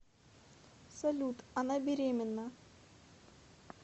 салют она беременна